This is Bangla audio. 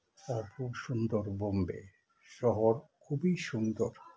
আর খুব সুন্দর বোম্বে শহর খুবই সুন্দর